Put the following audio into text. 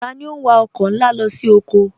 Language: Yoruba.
Tani o n wà ọkọ nlá lọ sí ọkọ?